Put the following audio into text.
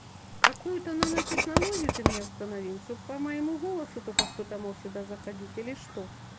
какую-то нанотехнологию ты мне установил чтоб по моему голосу только кто-то мог сюда заходить или что